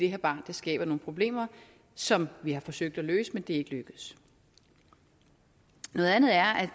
her barn skaber nogle problemer som vi har forsøgt at løse men det er ikke lykkedes noget andet er at